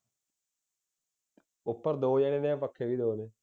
ਉਪਰ ਦੋ ਜਾਣੇ ਨੇ ਪੱਖੇ ਵੀ ਦੋ ਨੇ